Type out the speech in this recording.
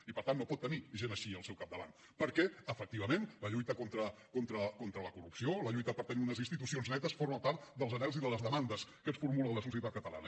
i per tant no pot tenir gent així al seu capdavant perquè efectivament la lluita contra la corrupció la lluita per tenir unes institucions netes forma part dels anhels i de les demandes que ens formula la societat catalana